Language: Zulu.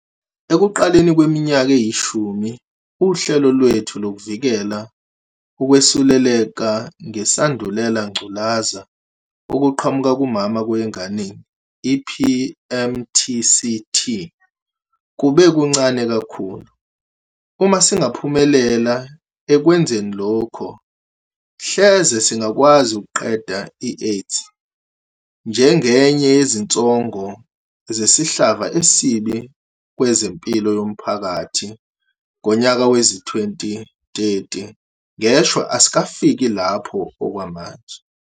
Ekuqaleni kweminyaka eyishumi, uhlelo lwethu lokuvikela ukwesuleleka ngeSandulela ngculazi okuqhamuka kumama kuya enganeni, i-PMTCT, kube kuncane kakhulu. Uma singaphumelela ekwenzeni lokho, hleze singakwazi ukuqeda i-AIDS njengenye yezinsongo zesihlava esibi kwezempilo yomphakathi ngonyaka wezi-2030. Ngeshwa, asikafiki lapho okwamanje.